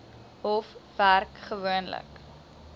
hof werk gewoonlik